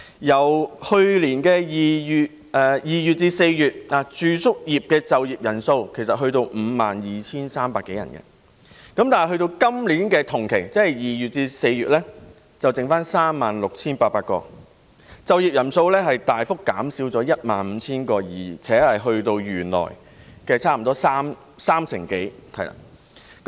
自去年2月至4月，住宿業的就業人數其實已達 52,300 多人，但至今年同期，只剩餘 36,800 人，就業人數大幅減少 15,000 人，並達至原來差不多三成左右。